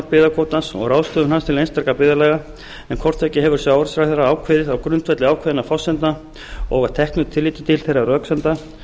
og ráðstöfun hans til einstakra byggðarlaga en hvort tveggja hefur sjávarútvegsráðherra ákveðið á grundvelli ákveðinna forsendna og að teknu tilliti til þeirra röksemda